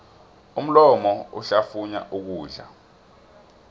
umlomo uhlafunya ukudla